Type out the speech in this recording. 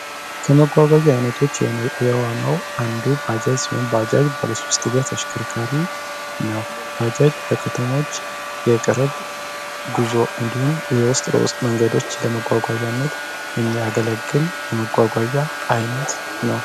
ከመጓጓዣ አይነቶች ውስጥ አንዱ የሆነው ባጃጅ ሲሆን ባጃጅ ባለ ሶስት እግር ከተሞች የቅርብ ጉዞ እንዲሁም ደግሞ የውስጥ ለውስጥ መንገዶች ለማጓጓነት የሚያገለግል የመጓዣ አይነት ነው።